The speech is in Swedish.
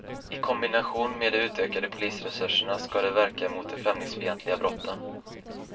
I kombination med de utökade polisresurserna ska det verka mot de främlingsfientliga brotten.